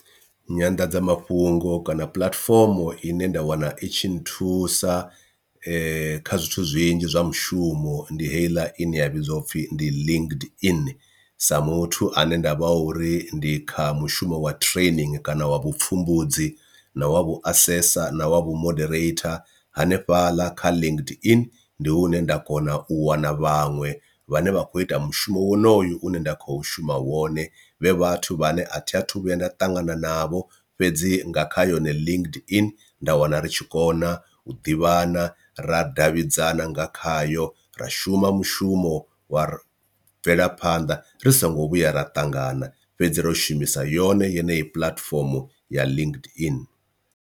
Nyanḓadzamafhungo kana puḽatifomo ine nda wana itshi nthusa kha zwithu zwinzhi zwa mushumo ndi heiḽa ine ya vhidziwa upfhi ndi linked in sa muthu ane ndavha uri ndi kha mushumo wa training kana wa vhupfhumbudzi, na wa vhu asesa, na wa vhu moderator. Hanefhaḽa kha linked in ndi hune nda kona u wana vhaṅwe vhane vha kho ita mushumo wonoyo une nda kho shuma wone vhe vhathu vhane athi athu vhuya nda ṱangana navho fhedzi nga kha yone linked in nda wana ri tshi kona u ḓivhana ra davhidzana nga khayo ra shuma mushumo wa bvela phanda ri songo vhuya ra ṱangana, fhedzi ro shumisa yone yeneyi puḽatifomo ya linked in.